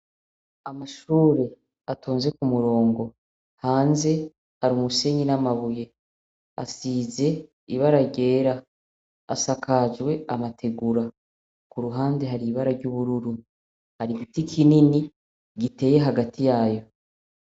Amashure atonze ku murongo hanze hari umusenyi n'amabuye. Asize ibara ryera. Asakajwe amategura. Ku ruhande hari ibara ry'ubururu. Hari giti kinini giteye hagati yayo.